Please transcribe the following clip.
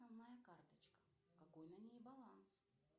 моя карточка какой на ней баланс